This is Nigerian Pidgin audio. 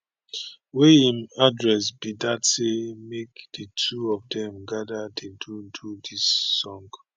wey im address be dat say make di two of dem gada dey do do di songs